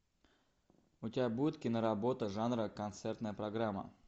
у тебя будет киноработа жанра концертная программа